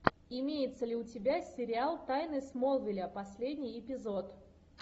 имеется ли у тебя сериал тайны смолвиля последний эпизод